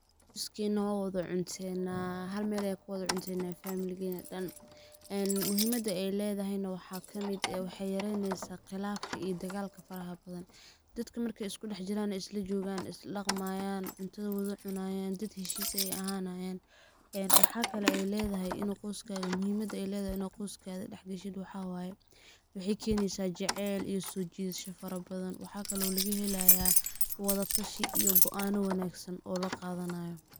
Qoyskeena waan wada cunteena ,hal meel ayaan kuwada cunteena familigeena dhan, ee muhimadda ay ledahay na waxaa kamid eh waxey yareyneysaa qilafka iyo digalka faraha badan . Dadka markey isku dhax jiraan, isla jogaan ay isla dhaqmayaan, cuntada wada cunayaan dad heshiis eh ayey ahanayaan. Eee waxa kale ay ledahay in qoskaada, muhimadda ay ledahay in qoyskaada dhax gashid waxa waye ,waxey keneysaa jeceyl iyo soo jiidasho fara badan waxa kale oo laga helayaa wada tashi yo go'ano wanagsan oo la qadanayo.